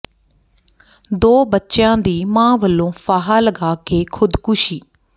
ਦੋ ਬੱਚਿਆਂ ਦੀ ਮਾਂ ਵੱਲੋਂ ਫਾਹਾ ਲਗਾ ਕੇ ਖ਼ੁਦਕੁਸ਼ੀ